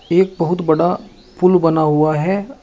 एक बहुत बड़ा पुल बना हुआ है।